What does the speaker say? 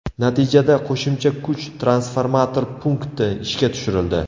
Natijada qo‘shimcha kuch transformator punkti ishga tushirildi.